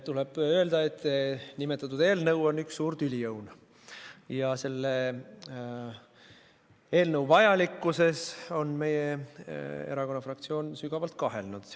Tuleb öelda, et nimetatud eelnõu on üks suur tüliõun ja selle eelnõu vajalikkuses on meie erakonna fraktsioon sügavalt kahelnud.